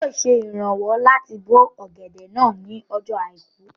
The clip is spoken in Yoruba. Olú yóò ṣe ìrànwọ́ láti bó ọ̀gẹ̀dẹ̀ náà ní ọjọ́ àìkú